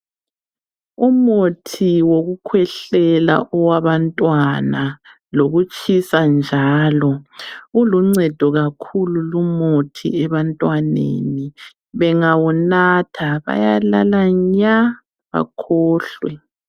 Umuthi wokukhwehlela owabantwana lokutshisa njalo. Uluncedo kakhulu lumuthi ebantwaneni, bengawunatha bayalala nya bakhohlwe